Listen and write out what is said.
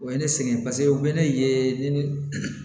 O ye ne sɛgɛn paseke u bɛ ne ye ne